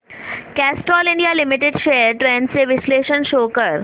Castrol India limited shares trends चे विश्लेषण show कर